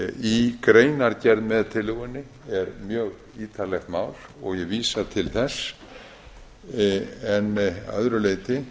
í greinargerð með tillögunni er mjög ítarlegt mál og ég vísa til þess en að öðru leyti